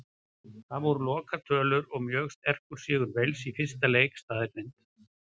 Það voru lokatölur og mjög sterkur sigur Wales í fyrsta leik staðreynd.